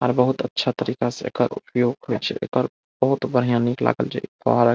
और बहूत अच्छा तरीका से एकर उपयोग होइ छई एकर बहुत बढ़िया निक लागल छई।